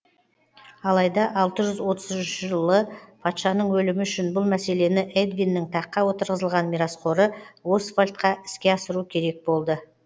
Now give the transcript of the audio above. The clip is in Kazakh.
алайда алты жүз отыз үшінші жылы патшаның өлімі үшін бұл мәселені эдвиннің таққа отырғызылған мирасқоры освальдқа іске асыру керек болды